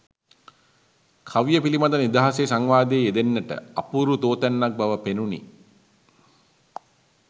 කවිය පිළිබඳව නිදහසේ සංවාදයේ යෙදෙන්නට අපූරු තෝතැන්නක් බව පෙනුණි.